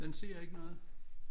Den siger ikke noget